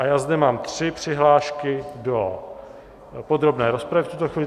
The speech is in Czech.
A já zde mám tři přihlášky do podrobné rozpravy v tuto chvíli.